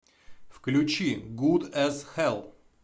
включи гуд эс хелл